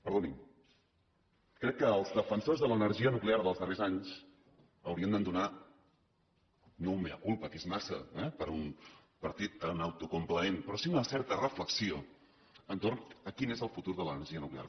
perdoni’m crec que els defensors de l’energia nuclear dels darrers anys haurien d’entonar no un mea culpaper a un partit tan autocomplaent però sí una certa reflexió entorn de quin és el futur de l’energia nuclear